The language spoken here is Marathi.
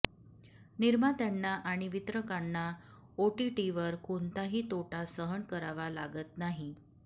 निर्मात्यांना आणि वितरकांना ओटीटीवर कोणताही तोटा सहन करावा लागत नाही